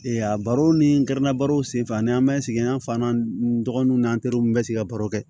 a baro ni kɛra baro senfɛ ni an bɛ sigi an fan na n dɔgɔninw ni an teriw bɛ sigi ka baro kɛ